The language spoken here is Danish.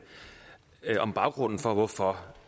om baggrunden for hvorfor